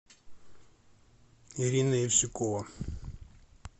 ирина евсюкова